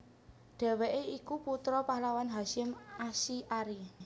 Dheweke iku putra pahlawan Hasyim Asy arie